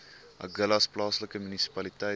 agulhas plaaslike munisipaliteit